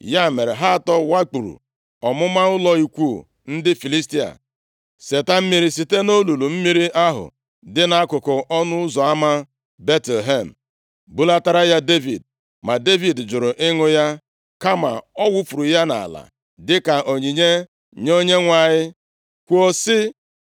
Ya mere, ha atọ wakpuru ọmụma ụlọ ikwu ndị Filistia, seta mmiri site nʼolulu mmiri ahụ dị nʼakụkụ ọnụ ụzọ ama Betlehem, bulatara ya Devid. Ma Devid jụrụ ịṅụ ya, kama ọ wufuru ya nʼala dịka onyinye nye Onyenwe anyị, kwuo sị,